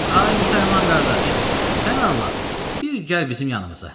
Ay müsəlman qardaş, sən Allah, bir gəl bizim yanımıza.